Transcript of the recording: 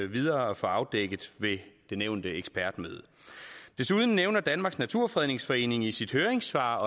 videre at få afdækket ved det nævnte ekspertmøde desuden nævner danmarks naturfredningsforening i sit høringssvar